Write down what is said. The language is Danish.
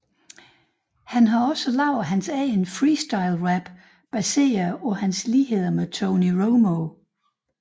Han har også lavet hans egen free style rap baseret på hans ligheder med Tony Romo